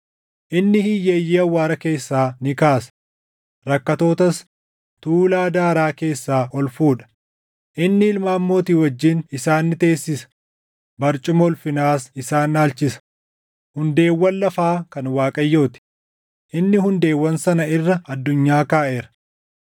Inni hiyyeeyyii awwaara keessaa ni kaasa; rakkattootas tuulaa daaraa keessaa ol fuudha; inni ilmaan mootii wajjin isaan ni teessisa; barcuma ulfinaas isaan dhaalchisa. “Hundeewwan lafaa kan Waaqayyoo ti; inni hundeewwan sana irra addunyaa kaaʼeera.